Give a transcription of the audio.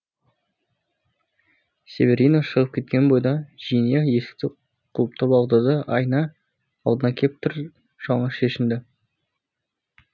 северино шығып кеткен бойда джиния есікті құлыптап алды да айна алдына кеп тыр жалаңаш шешінді